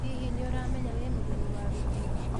hihi nĩũramenya wĩ mũgenĩ wa gĩtĩo?